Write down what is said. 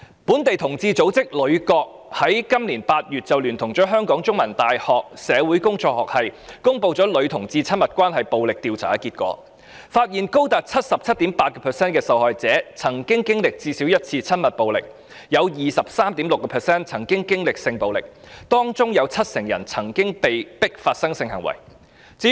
本地同志組織女角平權協作組於本年8月聯同香港中文大學社會工作學系，公布女同志親密關係暴力調查結果，發現有高達 77.8% 受害者曾經歷最少一次親密暴力，有 23.6% 受害者曾經歷性暴力，當中有 70% 曾被迫發生性行為。